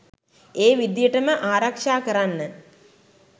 ඒ විදියටම ආරක්ශා කරන්න